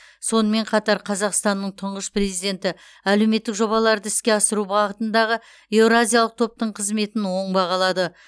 сонымен қатар қазақстанның тұңғыш президенті әлеуметтік жобаларды іске асыру бағытындағы еуразиялық топтың қызметін оң бағалады